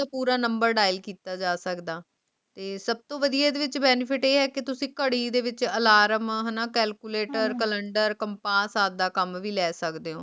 ਪੋਰ number dial ਕੀਤਾ ਜਾ ਸਕਦਾ ਤੇ ਸਬ ਤੋਂ ਵਾਦਿਯ ਏਡਾ benefit ਆਯ ਹੈ ਕੇ ਤੁਸੀਂ ਘਰੀ ਦੇ ਵਿਚ alarm ਹਾਨਾ calculatro calendar compass ਆਪਦਾ ਕਾਮ ਵੀ ਲੇ ਸਕਦੇ ਊ